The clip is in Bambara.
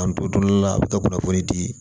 K'an to dun la a bi ka kunnafoni di